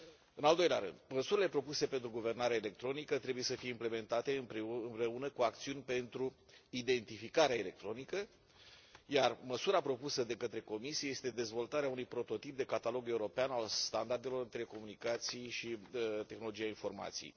În al doilea rând, măsurile propuse pentru guvernare electronică trebuie să fie implementate împreună cu acțiuni pentru identificarea electronică, iar măsura propusă de către Comisie este dezvoltarea unui prototip de catalog european al standardelor în telecomunicații și tehnologia informației.